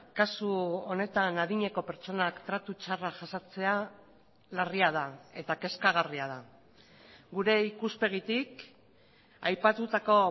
kasu honetan adineko pertsonak tratu txarrak jasatea larria da eta kezkagarria da gure ikuspegitik aipatutako